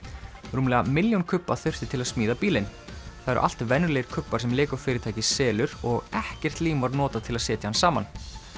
rúmlega milljón kubba þurfti til að smíða bílinn það eru allt venjulegir kubbar sem fyrirtækið selur og ekkert lím var notað til að setja hann saman